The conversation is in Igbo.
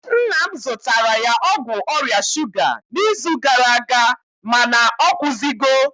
nna m zụtara ya ọgwụ ọrịa shuga n'izu gara aga mana ọ kwụzigo